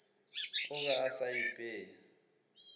o be a sa ipeye